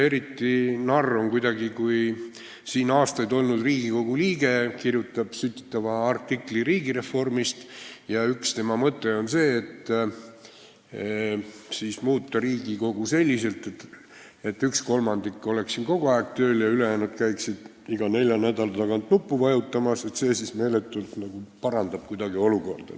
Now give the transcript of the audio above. Eriti narr on kuidagi, kui siin Riigikogus aastaid olnud Riigikogu liige kirjutab sütitava artikli riigireformist ja üks tema mõte on see, et võiks muuta Riigikogu selliselt, et üks kolmandik oleks siin kogu aeg tööl ja ülejäänud käiksid iga nelja nädala tagant nuppu vajutamas, et see siis kuidagi meeletult parandaks olukorda.